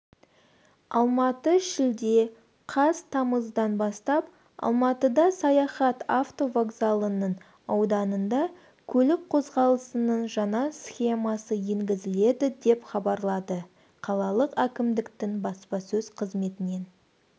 алматы шілде қаз тамыздан бастап алматыда саяхат автовокзалының ауданында көлік қозғалысының жаңа схемасы енгізіледі деп хабарлады қалалық әкімдіктің баспасөз қызметінен